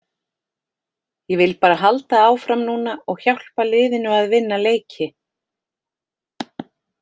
Ég vil bara halda áfram núna og hjálpa liðinu að vinna leiki.